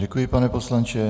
Děkuji, pane poslanče.